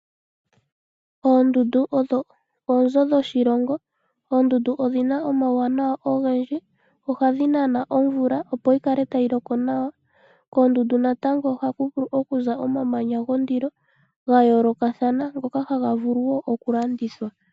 Oondundu odho oonzo dho shilongo. Oondundu odhina omawanawa ogendji. Ohadhi nana omvula opo yi kale tayi loko nawa. Koondundu natango ohaku vulu okuza omamanya gondilo ga yoolokathana, ngoka haga vulu wo oku landithwa.